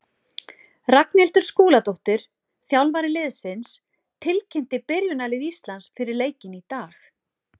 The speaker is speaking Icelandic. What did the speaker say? Ragnhildur Skúladóttir, þjálfari liðsins, tilkynnti byrjunarlið Íslands fyrir leikinn í dag.